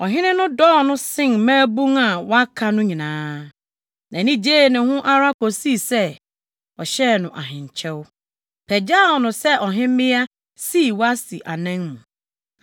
ɔhene no dɔɔ no sen mmabun a wɔaka no nyinaa. Nʼani gyee ne ho ara kosii sɛ, ɔhyɛɛ no ahenkyɛw, pagyaw no sɛ ɔhemmea, sii Wasti anan mu.